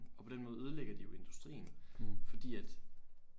Og på den måde ødelægger de jo industrien fordi at